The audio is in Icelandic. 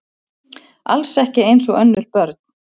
Alls ekki eins og önnur börn.